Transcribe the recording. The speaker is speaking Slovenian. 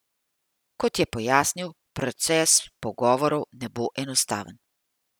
Kot je pojasnil, proces pogovorov ne bo enostaven.